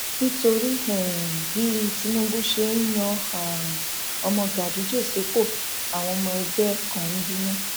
nítorí um bí tinúbù ṣe yan um ọmọ ganduje sípò àwọn ọmọ ẹgbẹ kan ń bínú